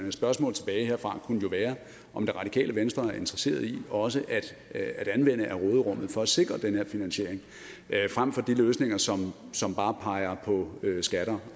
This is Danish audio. et spørgsmål tilbage herfra kunne jo være om det radikale venstre er interesseret i også at anvende af råderummet for at sikre den her finansiering fremfor de løsninger som som bare peger på skatter